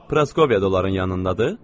Proskoviyada onların yanındadır.